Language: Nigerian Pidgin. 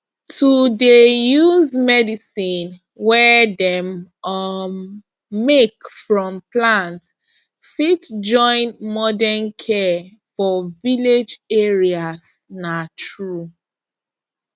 to dey use medicine wey dem um make from plant fit join modern care for village areas na true